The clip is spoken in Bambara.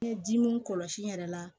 Ɲɛ dimi kɔlɔsi yɛrɛ la